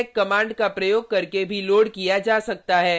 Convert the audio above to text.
इसे exec command का प्रयोग करके भी लोड किया जा सकता है